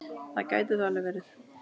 Það gæti þó alveg verið.